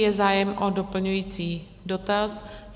Je zájem o doplňující dotaz?